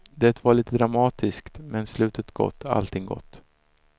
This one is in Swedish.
Det var lite dramatiskt men slutet gott, allting gott.